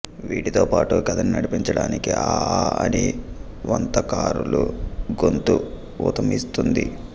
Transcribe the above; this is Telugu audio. వీటితో పాటు కథని నడిపించడానికి ఆ ఆ అని వంతకారుల గొంతు ఊతమిస్తుంది